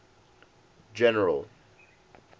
general